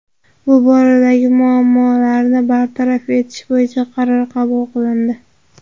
Bu boradagi muammolarni bartaraf etish bo‘yicha qaror qabul qilindi.